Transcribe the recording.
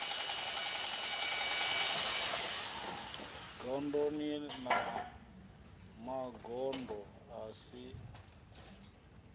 gondoni na magondo a si